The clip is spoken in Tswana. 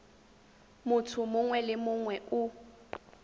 motho mongwe le mongwe o